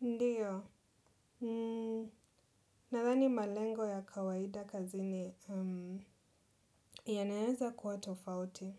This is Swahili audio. Ndiyo. Nathani malengo ya kawaida kazini yanaweza kuwa tofauti.